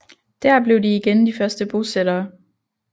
Dér blev de igen de første bosættere